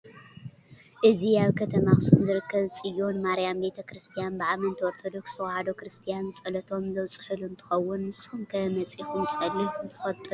እዚ ኣብ ከተማ ኣክሱም ዝርከብ ፅዮን ማርያም ቤተ-ክርስትያን ብኣመንቲ ኦርቶዶክስ ተዋህዶ ክርስትያን ፀሎቶም ዘብፅሕሉ እንትከውን፤ ንስኩም ከ መፂኩም ፀሊኩም ትፈልጡ ዶ?